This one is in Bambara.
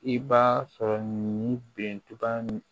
I b'a sɔrɔ nin bertuba mi